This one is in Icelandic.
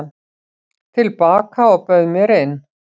til baka og bauð mér inn.